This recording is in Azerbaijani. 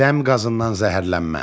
Dəm qazından zəhərlənmə.